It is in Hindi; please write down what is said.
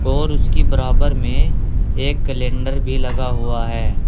और उसकी बराबर में एक कैलेंडर भी लगा हुआ है।